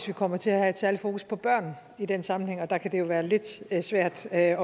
vi kommer til at have et særlig fokus på børn i den sammenhæng og der kan det jo være lidt svært at